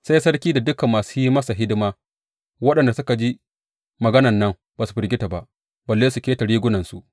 Sai sarki da dukan masu yin masa hidima waɗanda suke jin maganan nan ba su firgita ba, balle su keta rigunansu.